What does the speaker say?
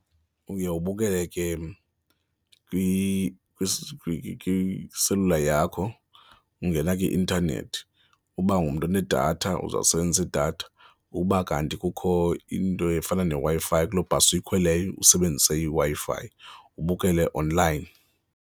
Uye ubukele ke kwiselula yakho, ungena kwi-intanethi. Uba ungumntu unedatha uza kusebenzisa idatha ukuba kanti kukho into efana neWi-Fi kuloo bhasi uyikhweleyo usebenzise iWi-Fi, ubukele online.